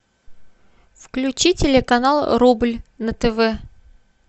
включи телеканал рубль на тв